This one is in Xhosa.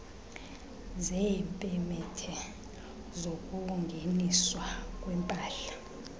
zeepemethe zokungeniswa kwempahla